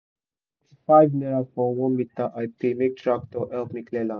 our youth don clear the farm wey farm wey don old for the new cassava work wey won begin